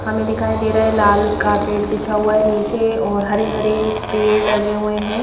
हमें दिखाई दे रहा है लाल कारपेट बिछा हुआ है नीचे और हरे-हरे पेड़ लगे हुए हैं.